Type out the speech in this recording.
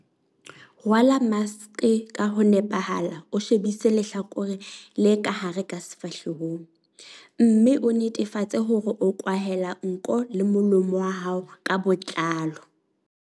Rwala maske ka ho nepahala o shebise lehlakore le ka hare ka sefahlehong, mme o netefatse hore o kwahela nko le molomo wa hao ka botlalo.4.